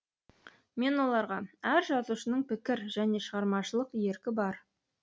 мен оларға әр жазушының пікір және шығармашылық еркі бар